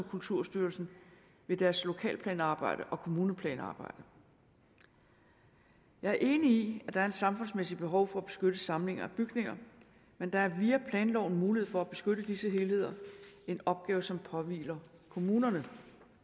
kulturstyrelsen i deres lokalplanarbejde og kommuneplanarbejde jeg er enig i at der er et samfundsmæssigt behov for at beskytte samlinger af bygninger men der er via planloven mulighed for at beskytte disse helheder en opgave som påhviler kommunerne